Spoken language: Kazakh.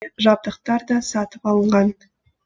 жабдықтар да сатып алынған